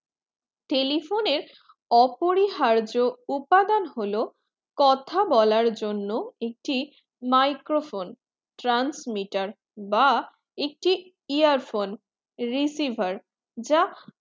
telephone অপরিহার্য উপাদান হলো কথা বলার জন্য একটি microphone transmitter বা একটি earphone receiver যা